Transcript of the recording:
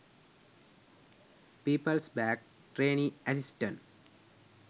peoples bank trainee assistant